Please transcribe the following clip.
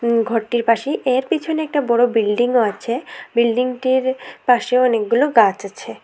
উম ঘরটির পাশেই এর পিছনে একটি বড় বিল্ডিং ও আছে বিল্ডিং টির পাশে অনেকগুলো গাছ আছে।